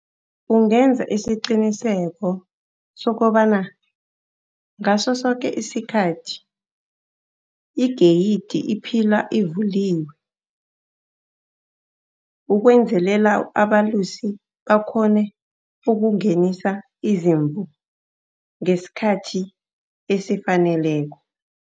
Ungenza isiqiniseko sokobana ngaso soke isikhathi igeyidi iphila ivuliwe, ukwenzelela abalusi bakghone ukungenisa izimvu ngesikhathi esifaneleko.